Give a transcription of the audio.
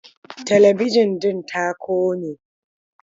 Talabijin ɗin ta kone.